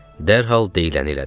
Dərhal deyiləni elədim.